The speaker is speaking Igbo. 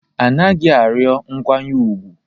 A naghị arịọ nkwanye ùgwù